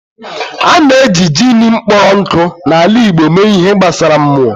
A na-eji jin kpọrọ nkụ na ala igbo mee ihe gbasara /mmụọ.